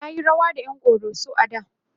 tayi rawa da ƴan koroso a da